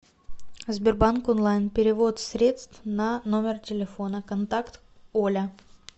сбербанк онлайн перевод средств на номер телефона контакт оля